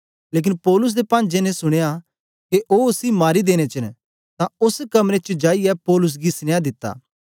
लेकन पौलुस दे पांजे ने सुनया के ओ उसी मारी देनें च न तां ओस कमरे च जाईयै पौलुस गी सनिया दिता